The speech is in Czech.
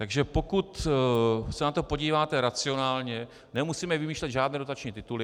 Takže pokud se na to podíváte racionálně, nemusíme vymýšlet žádné dotační tituly.